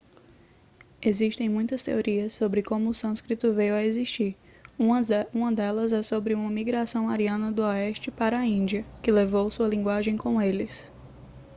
existem muitas teorias sobre como o sânscrito veio a existir uma delas é sobre uma migração ariana do oeste para a índia que levou sua linguagem com eles